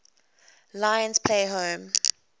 lions play home